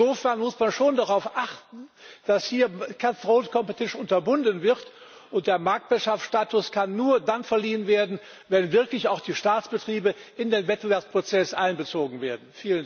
Insofern muss man schon darauf achten, dass hier cut throat competition unterbunden wird. Der Marktwirtschaftsstatus kann nur dann verliehen werden, wenn wirklich auch die Staatsbetriebe in den Wettbewerbsprozess einbezogen werden.